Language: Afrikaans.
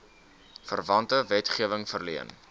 verwante wetgewing verleen